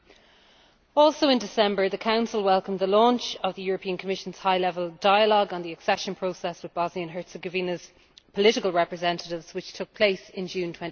Also in December 2012, the Council welcomed the launch of the European Commission's High Level Dialogue on the Accession Process with Bosnia and Herzegovina's political representatives, which took place in June